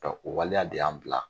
dɔnk o waleya de y'an bila